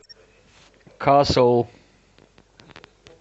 касл